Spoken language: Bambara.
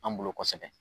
An bolo kosɛbɛ